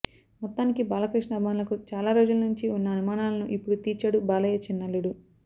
మొత్తానికి బాలకృష్ణ అభిమానులకు చాలా రోజుల నుంచి ఉన్న అనుమానాలను ఇప్పుడు తీర్చాడు బాలయ్య చిన్నల్లుడు